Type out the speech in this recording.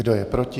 Kdo je proti?